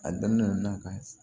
A daminɛ na ka